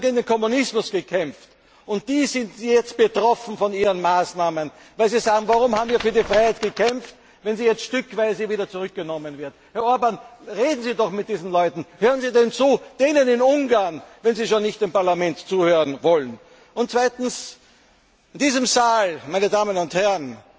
Sie haben gegen den Kommunismus gekämpft. Und die sind jetzt betroffen von Ihren Maßnahmen, weil sie sagen Warum haben wir für die Freiheit gekämpft, wenn sie jetzt stückweise wieder zurückgenommen wird? Herr Orbán, reden Sie doch mit diesen Leuten! Hören Sie ihnen zu denen in Ungarn, wenn Sie schon nicht im Parlament zuhören wollen. Und zweitens In diesem Saal, meine Damen und